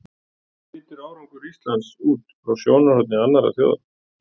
Hvernig lítur árangur Íslands út frá sjónarhorni annarra þjóða?